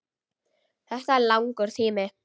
Þetta er langur tími.